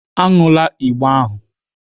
Aṅụla igbo ahụ!